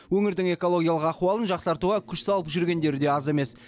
өңірдің экологиялық ахуалын жақсартуға күш салып жүргендері де аз емес